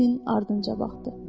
Leninin ardınca baxdı.